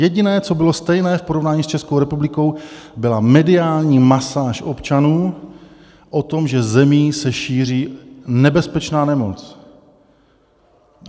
Jediné, co bylo stejné v porovnání s Českou republikou, byla mediální masáž občanů o tom, že zemí se šíří nebezpečná nemoc.